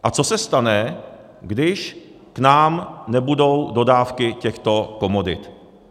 A co se stane, když k nám nebudou dodávky těchto komodit?